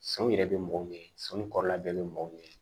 Sanu yɛrɛ bɛ mɔgɔw ɲɛ sɔnni kɔrɔla bɛɛ bɛ mɔgɔw ɲɛ ye